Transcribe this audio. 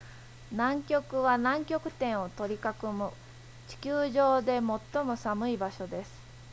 南極は南極点を取り囲む地球上で最も寒い場所です